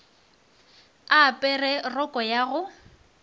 a apere roko ya go